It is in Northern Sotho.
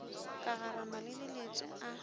ka garama le dilete a